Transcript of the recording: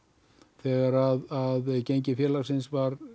þegar að gengi félagsins var